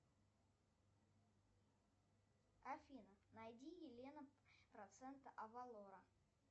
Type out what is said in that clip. афина найди елена процента авалора